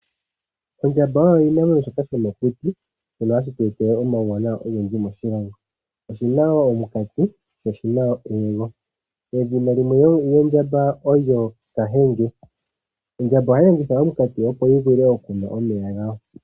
Ondjamba oyo oshinamwenyo shoka shomokuti shono hashi tu etele omawuwanawa ogendji moshilongo. Oshina woo omunkati, edhina limwe lyondjamba olyo kahenge. Ondjamba ohayi longitha omunkati opo yi vule okunwa omeya gayo.